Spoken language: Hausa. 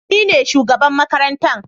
Ni ne shugaban makarantar